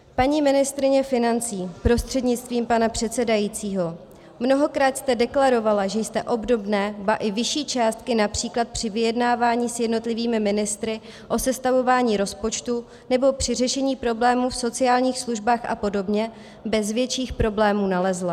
Paní ministryně financí prostřednictvím pana předsedajícího, mnohokrát jste deklarovala, že jste obdobné, ba i vyšší částky, například při vyjednávání s jednotlivými ministry o sestavování rozpočtu nebo při řešení problémů v sociálních službách a podobně, bez větších problémů nalezla.